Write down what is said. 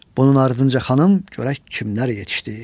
Bunun ardınca xanım, görək kimlər yetişdi.